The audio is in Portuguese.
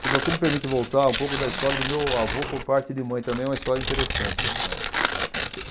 Se você me permite voltar um pouco da história do meu avô por parte de mãe, também é uma história interessante, né.